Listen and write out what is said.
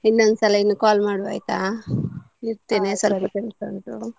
ಇನ್ನೊಂದ್ಸಲ ಇನ್ನು call ಮಾಡುವ ಆಯ್ತಾ ಸಲ್ಪ ಕೆಲಸ ಉಂಟು.